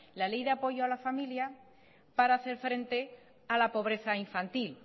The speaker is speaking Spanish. la ley de apoyo a la familia para hacer frente a la pobreza infantil